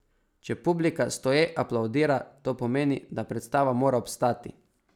Če publika stoje aplavdira, to pomeni, da predstava mora obstati.